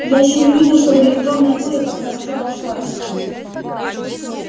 я ещё не видел чтобы электронная буря так хорошо обошлась